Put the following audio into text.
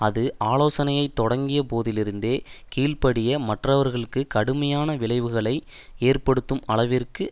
அது ஆலோசனையை தொடங்கிய போதிலிருந்தே கீழ்படிய மறுப்பவர்களுக்கு கடுமையான விளைவுகளை ஏற்படுத்தும் அளவிற்கு